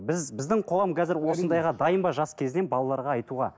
біз біздің қоғам қазір осындайға дайын ба жас кезден балаларға айтуға